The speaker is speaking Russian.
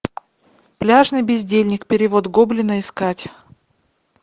пляжный бездельник перевод гоблина искать